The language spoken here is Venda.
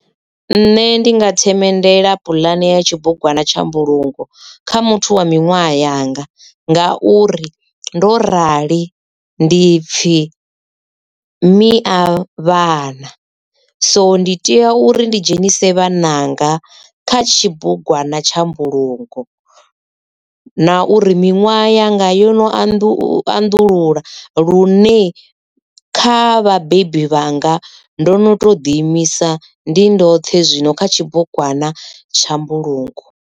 Nṋe ndi nga themendela puḽane ya tshibugwana tsha mbulungo kha muthu wa miṅwaha yanga ngauri ndo rali ndi pfhi miavhana so ndi tea uri ndi dzhenise vhananga kha tshibugwana tsha mbulungo na uri minwaha yanga yo no anḓulula lune kha vhabebi vhanga ndo no to ḓi imisa ndi ndo vhoṱhe zwino kha tshibugwana tsha mbulungo.